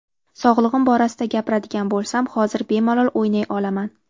Sog‘lig‘im borasida gapiradigan bo‘lsam, hozir bemalol o‘ynay olaman.